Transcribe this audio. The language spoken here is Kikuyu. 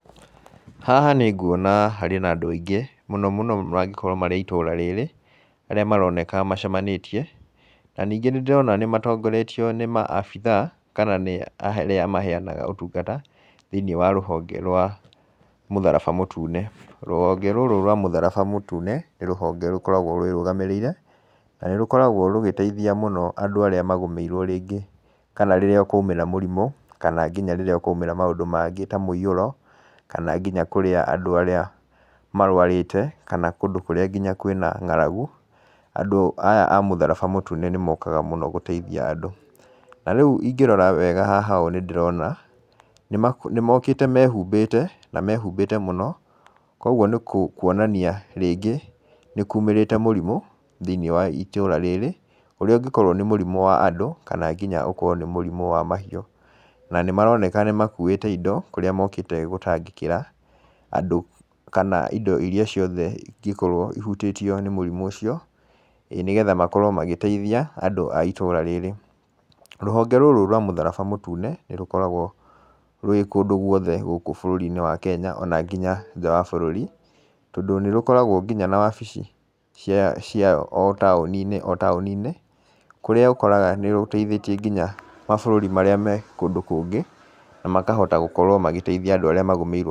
Haha nĩnguona harĩ na andũ aingĩ mũno mũno mangĩkorwo marĩ a itũra rĩrĩ arĩa maroneka macemanĩtie na ningĩ nĩndĩrona nĩmatongoretio nĩ ma abithaa kana nĩ arĩa maheanaga ũtungata thĩinĩe wa rũhonge rwa mũtharaba mũtune. Rũhonge rũrũ rwa mũtharaba mũtune nĩ rũhonge rũkoragwo rwĩ rũgamĩrĩire na nĩ rũkoragwo rũgĩteithia mũno andũ arĩa magũmĩirwo rĩngĩ kana rĩrĩa kwa umĩra mũrimũ kana nginya rĩria kwa umĩra maũndũ mangĩ ta mũiyũro kana nginya kũrĩa andũ arĩa marwarĩte kana kũndũ kũrĩa nginya kwĩna ng'aragu, andũ aya a mũtharaba mũtune nĩmokaga mũno gũteithia andũ. Narĩu ingĩrora wega haha nĩndĩrona nĩmokĩte mehumbĩte na mehumbĩte mũno kwa ũgũo nĩkwonania rĩngĩ nĩkumĩrĩte mũrimũ thiinĩe wa itũra rĩrĩ ũrĩa ũngĩkorwo nĩ mũrimũ wa andũ kana nginya ũkorwo nĩ mũrimũ wa mahiũ na nĩmaroneka nĩmakũĩte indo kũrĩa mokĩte gũtangĩkĩra andũ kana indo iria ciothe ingĩkorwo ihutĩtio nĩ mũrimũ ũcio nĩgetha makorwo magĩteithia andũ a itũra rĩrĩ. Rũhonge rũrũ rwa mũtharaba mũtune nĩrũkoragwo rwĩ kũndũ gũothe gũkũ bũrũri-inĩ wa kenya ona nginya njaa wa bũrũri tondũ nĩrũkoragwo nginya na wabici ciao taũni-inĩ o taũni-inĩ kũrĩa ũkoraga nĩrũteithĩtĩe nginya mabũrũri marĩa me kũndũ kũngĩ na makahota gũkorwo magĩteithia andũ arĩa magũmĩirwo.